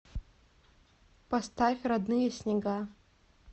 поставь родные снега